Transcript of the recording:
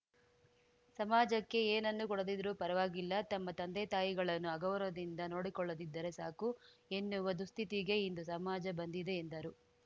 ಸಮಾಜಕ್ಕೆ ಏನನ್ನು ಕೊಡದಿದ್ದರೂ ಪರವಾಗಿಲ್ಲ ತಮ್ಮ ತಂದೆತಾಯಿಗಳನ್ನು ಅಗೌರವದಿಂದ ನೋಡಿಕೊಳ್ಳದಿದ್ದರೆ ಸಾಕು ಎನ್ನುವ ದುಃಸ್ಥಿತಿಗೆ ಇಂದು ಸಮಾಜ ಬಂದಿದೆ ಎಂದರು